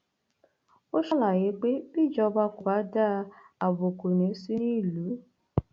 ó ṣàlàyé pé bíjọba kò bá dáa ààbò kò ní í sí nílùú